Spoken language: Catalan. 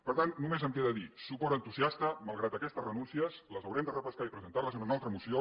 per tant només em queda dir suport entusiasta malgrat aquestes renúncies les haurem de repescar i presentar les en una altra moció